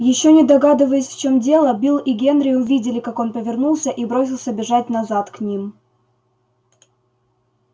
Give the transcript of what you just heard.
ещё не догадываясь в чём дело билл и генри увидели как он повернулся и бросился бежать назад к ним